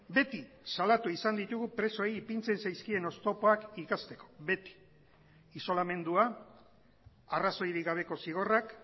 beti salatu izan ditugu presoei ipintzen zaizkien oztopoak ikasteko beti isolamendua arrazoirik gabeko zigorrak